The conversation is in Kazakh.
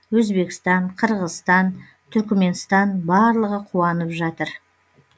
оңтүстіктегі ағайындар өзбекстан қырғызстан түркіменстан барлығы қуанып жатыр